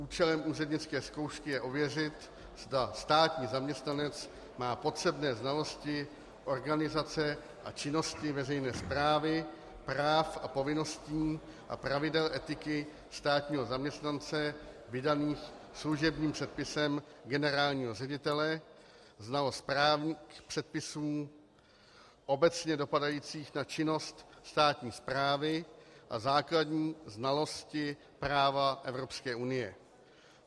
Účelem úřednické zkoušky je ověřit, zda státní zaměstnanec má potřebné znalosti organizace a činnosti veřejné správy, práv a povinností a pravidel etiky státního zaměstnance vydaných služebním předpisem generálního ředitele, znalost právních předpisů obecně dopadajících na činnost státní správy a základní znalosti práva Evropské unie.